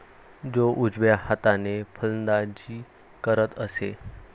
तो उजव्या हाताने फलंदाजी करत असे.